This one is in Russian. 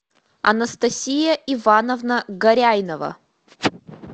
анастасия ивановна горяйнова